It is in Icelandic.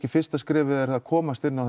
fyrsta skrefið er að komast inn á